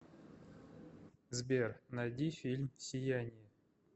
сбер найди фильм сияние